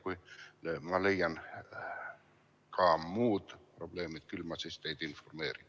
Kui ma leian muid probleeme, siis küll ma teid informeerin.